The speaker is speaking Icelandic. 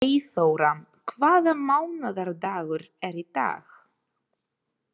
Eyþóra, hvaða mánaðardagur er í dag?